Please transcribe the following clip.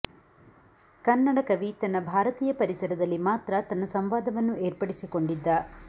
ಕನ್ನಡ ಕವಿ ತನ್ನ ಭಾರತೀಯ ಪರಿಸರದಲ್ಲಿ ಮಾತ್ರ ತನ್ನ ಸಂವಾದವನ್ನು ಏರ್ಪಡಿಸಿಕೊಂಡಿದ್ದ